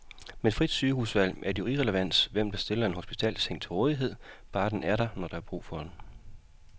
Med frit sygehusvalg er det jo irrelevant, hvem der stiller en hospitalsseng til rådighed, bare den er der, når der er brug for den.